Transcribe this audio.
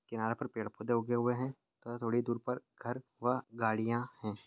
किनारे पर पेड़ पौधे उगे हुए है थोड़ी दूर पर घर व गाड़ियां है।